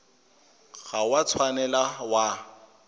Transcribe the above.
ga o a tshwanela wa